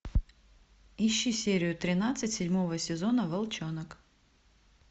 ищи серию тринадцать седьмого сезона волчонок